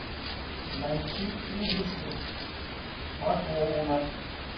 найти ужасы про клоуна